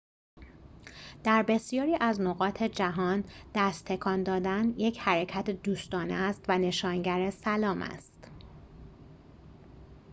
در بسیاری از نقاط جهان دست تکان دادن یک حرکت دوستانه است و نشانگر سلام است